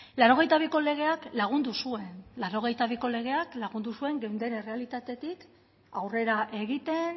laurogeita biko legeak lagundu zuen laurogeita biko legeak lagundu zuen geunden errealitatetik aurrera egiten